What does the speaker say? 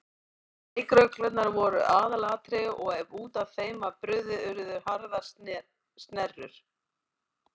Leikreglurnar voru aðalatriði og ef út af þeim var brugðið urðu harðar snerrur.